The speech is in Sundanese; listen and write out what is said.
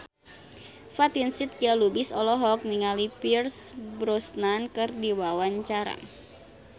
Fatin Shidqia Lubis olohok ningali Pierce Brosnan keur diwawancara